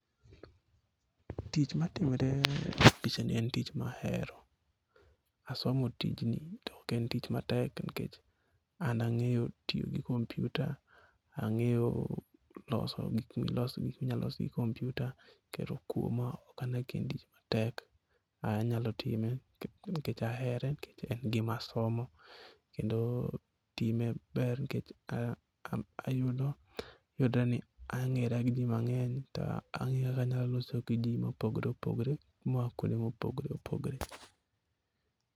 Tich matimore e pichani en tich ma ahero. Asomo tijni to ok en tich matek nikech an ang'eyo tiyo gi computer, ang'eyo gik miloso, gik minyal los gi computer kendo kuoma ok ane ka en tich matek. Anyalo time nikech ahere , nikech en gima asomo kendo ayudo, yudore ni ang'era gi ji mang'eny to ang'eyora ni anyalo loso gi ji mopogore opogore moa kwonde mopogoreopogore.